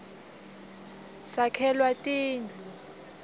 sakhelwa tindu